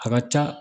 A ka ca